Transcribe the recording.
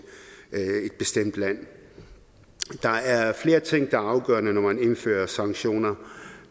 bestemt land der er flere ting der er afgørende når man indfører sanktioner